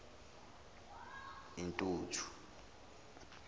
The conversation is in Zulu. intuthu